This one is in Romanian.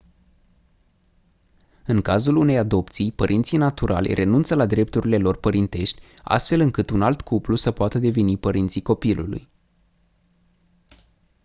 în cazul unei adopții părinții naturali renunță la drepturile lor părintești astfel încât un alt cuplu să poată deveni părinții copilului